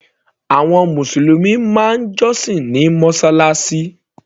Àwọn mùsùlùmí máa ń jọ́sìn ní mọ́sálásí.